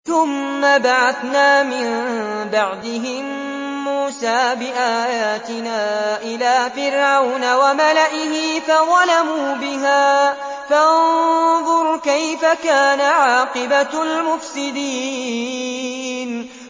ثُمَّ بَعَثْنَا مِن بَعْدِهِم مُّوسَىٰ بِآيَاتِنَا إِلَىٰ فِرْعَوْنَ وَمَلَئِهِ فَظَلَمُوا بِهَا ۖ فَانظُرْ كَيْفَ كَانَ عَاقِبَةُ الْمُفْسِدِينَ